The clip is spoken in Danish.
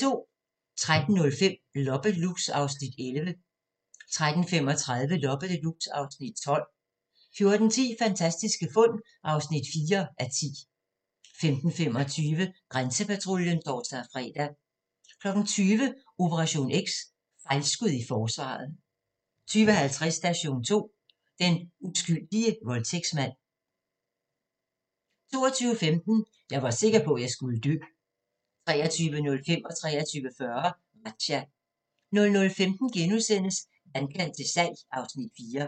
13:05: Loppe Deluxe (Afs. 11) 13:35: Loppe Deluxe (Afs. 12) 14:10: Fantastiske fund (4:10) 15:25: Grænsepatruljen (tor-fre) 20:00: Operation X: Fejlskud i Forsvaret 20:50: Station 2: Den uskyldige voldtægtsmand 22:15: Jeg var sikker på, at jeg skulle dø 23:05: Razzia 23:40: Razzia 00:15: Vandkant til salg (Afs. 4)*